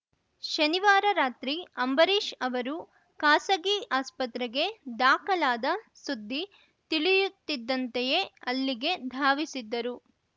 ಶನಿವಾರ ರಾತ್ರಿ ಅಂಬರೀಷ್‌ ಅವರು ಖಾಸಗಿ ಆಸ್ಪತ್ರೆಗೆ ದಾಖಲಾದ ಸುದ್ದಿ ತಿಳಿಯುತ್ತಿದ್ದಂತೆಯೇ ಅಲ್ಲಿಗೆ ಧಾವಿಸಿದ್ದರು